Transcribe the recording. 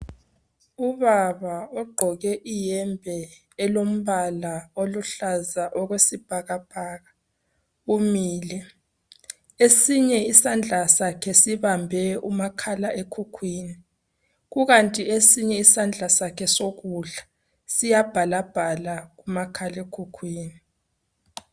Ubaba ogqoke iyembe elombala oluhlaza okwesibhakabhaka umile esinye isandla sakhe sibambe umakhalekhukhwini kukanti esinye isandla sakhe sokudla siya bhalabhala kumakhalekhukhwini.